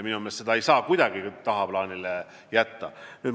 Minu meelest ei saa seda kuidagi tagaplaanile jätta.